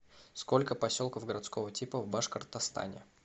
сколько поселков городского типа в башкортостане